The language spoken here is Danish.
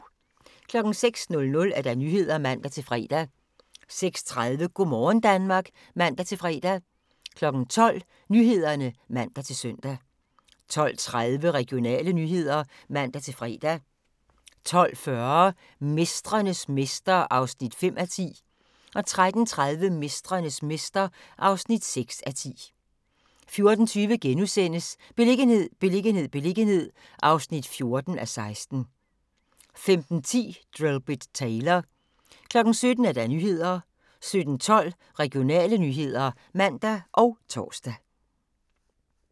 06:00: Nyhederne (man-fre) 06:30: Go' morgen Danmark (man-fre) 12:00: Nyhederne (man-søn) 12:30: Regionale nyheder (man-fre) 12:40: Mestrenes mester (5:10) 13:30: Mestrenes mester (6:10) 14:20: Beliggenhed, beliggenhed, beliggenhed (14:16)* 15:10: Drillbit Taylor 17:00: Nyhederne 17:12: Regionale nyheder (man og tor)